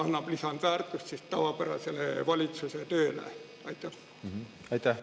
Mis lisandväärtust see annab valitsuse tavapärasele tööle?